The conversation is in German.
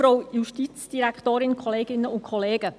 Frau Marti, Sie haben das Wort.